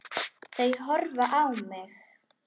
Þau horfa á mig.